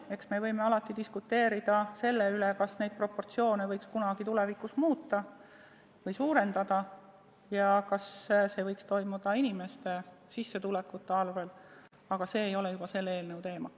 Eks me võime alati diskuteerida selle üle, kas neid proportsioone võiks kunagi tulevikus muuta ja panust suurendada ning kas see võiks toimuda inimeste sissetulekute arvel, aga see ei ole enam selle eelnõu teema.